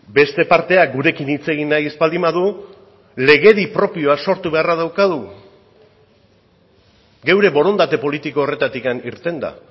beste parteak gurekin hitz egin nahi ez baldin badu legedi propioa sortu beharra daukagu geure borondate politiko horretatik irtenda